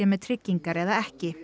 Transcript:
með tryggingar eða ekki